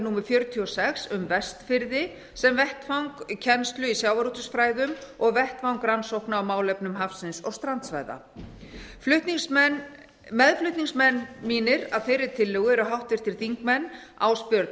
númer fjörutíu og sex um vestfirði sem vettvang kennslu í sjávarútvegsfræðum og vettvang rannsókna á málefnum hafsins og strandsvæða meðflutningsmenn mínir að þeirri tillögu eru háttvirtir þingmenn ásbjörn